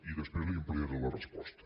i després li ampliaré la resposta